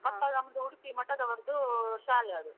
ಮತ್ತೆ ನಮ್ದು ಉಡುಪಿ ಮಠದವರದು ಶಾಲೆ ಅದು.